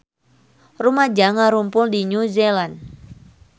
Rumaja ngarumpul di New Zealand